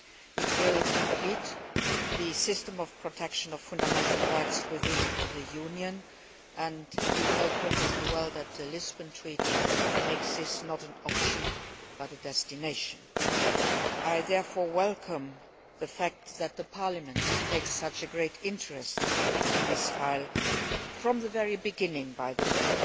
It will complete the system of protection of fundamental rights within the Union, and you know perfectly well that the Lisbon Treaty does not make this an option but a destination. I therefore welcome the fact that Parliament takes such a great interest in this file and has from the very beginning, by the way